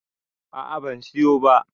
a a ban siyo ba